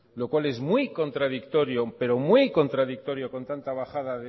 lo cual es muy contradictorio pero muy contradictorio con tanta bajada